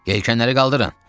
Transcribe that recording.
Yelkanları qaldırın!